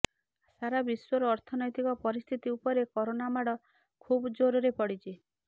ସାରା ବିଶ୍ୱର ଅର୍ଥନୈତିକ ପରିସ୍ଥିତି ଉପରେ କରୋନା ମାଡ଼ ଖୁବ୍ ଜୋର୍ରେ ପଡ଼ିଛି